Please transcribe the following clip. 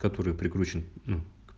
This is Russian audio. который прикручен ну